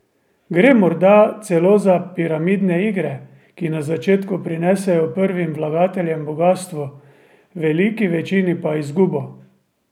Gre morda celo za piramidne igre, ki na začetku prinesejo prvim vlagateljem bogastvo, veliki večini pa izgubo?